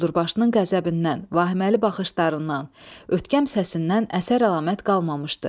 Quldurbaşının qəzəbindən, vahiməli baxışlarından, ötkəm səsindən əsər-əlamət qalmamışdı.